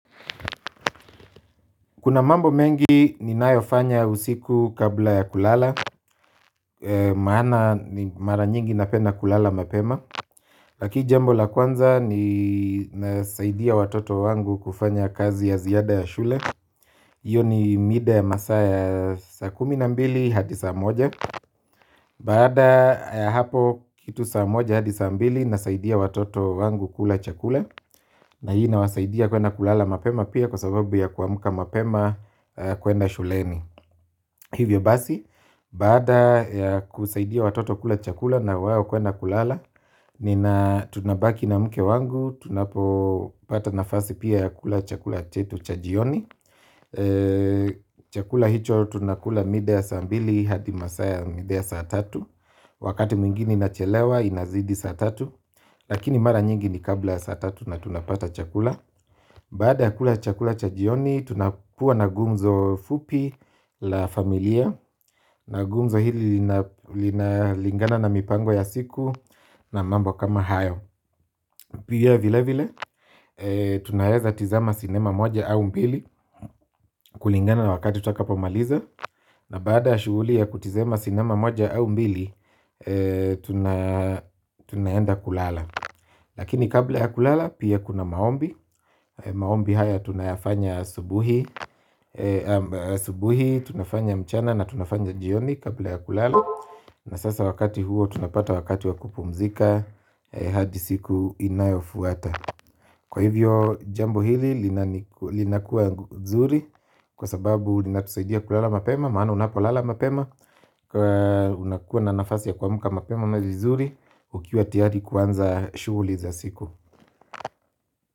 Kuna mambo mengi ni nayofanya usiku kabla ya kulala. Maana ni mara nyingi napenda kulala mapema. Laki jambo la kwanza ni nasaidia watoto wangu kufanya kazi ya ziada ya shule. Iyo ni mida ya masaa ya saa kuminambili hadi saa moja. Baada hapo kitu saa moja hadi saa mbili nasaidia watoto wangu kula chakula. Na hii inawasaidia kwenda kulala mapema pia kwa sababu ya kuamka mapema kwenda shuleni. Hivyo basi, baada ya kusaidia watoto kula chakula na wao kwenda kulala, nina tunabaki na mke wangu, tunapo pata nafasi pia ya kula chakula chetu chajioni. Chakula hicho tunakula mida ya saambili, hadi masaa mida ya saa tatu. Wakati mwingine ina chelewa inazidi saa tatu. Lakini mara nyingi ni kabla ya saa tatu na tunapata chakula. Baada ya kula chakula chajioni, tunakuwa na gumzo fupi la familia. Na gumzo hili lina lingana na mipango ya siku na mambo kama hayo. Pia vile vile tunaeza tizama sinema moja au mbili kulingana na wakati tutakapomaliza. Na baada ya shughuli ya kutizama sinema moja au mbili tunaenda kulala. Lakini kabla ya kulala pia kuna maombi. Maombi haya tunafanya asubuhi asubuhi tunafanya mchana na tunafanya jioni kabla ya kulala. Na sasa wakati huo tunapata wakati wakupumzika hadi siku inayo fuata. Kwa hivyo jambo hili linakuwa nzuri kwa sababu linatusaidia kulala mapema maana unapolala mapema unakuwa na nafasi ya kua mka mapema mazizuri ukiwa tiyari kuanza shuhuli za siku.